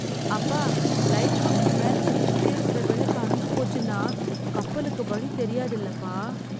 அப்பா, லைட் ஹவுஸ்க்கு மேல சுத்திக்கிட்டே இருக்கற விளக்கு அணைஞ்சு போச்சுன்னா, கப்பலுக்கு வழி தெரியாதுல்லப்பா.